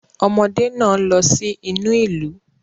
Ọmọdé náà lọ sí inú ìlú